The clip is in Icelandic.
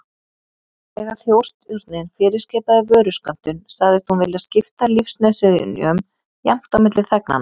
Þegar Þjóðstjórnin fyrirskipaði vöruskömmtun, sagðist hún vilja skipta lífsnauðsynjum jafnt á milli þegnanna.